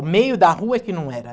O meio da rua é que não era.